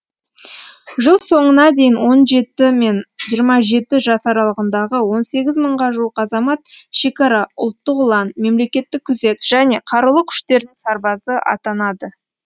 жыл соңына дейін он жеті мен жиырма жеті жас аралығындағы он сегіз мыңға жуық азамат шекара ұлттық ұлан мемлекеттік күзет және қарулы күштердің сарбазы атанады